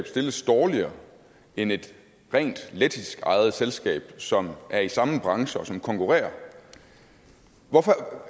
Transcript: stilles dårligere end et rent lettiskejet selskab som er i samme branche og som konkurrerer hvorfor